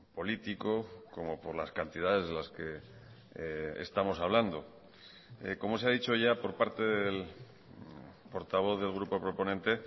político como por las cantidades de las que estamos hablando como se ha dicho ya por parte del portavoz del grupo proponente